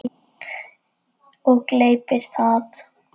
Og gleypir það.